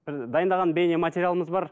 бір дайындаған бейнематериалымыз бар